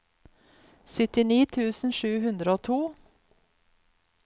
syttini tusen sju hundre og to